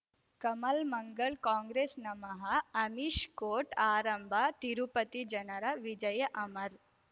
ಕಮಲ್ ಮಂಗಳ್ ಕಾಂಗ್ರೆಸ್ ನಮಃ ಅಮಿಷ್ ಕೋರ್ಟ್ ಆರಂಭ ತಿರುಪತಿ ಜನರ ವಿಜಯ ಅಮರ್